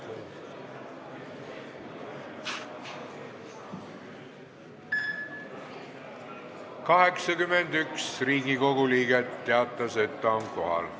Kohaloleku kontroll 81 Riigikogu liiget teatas, et ta on kohal.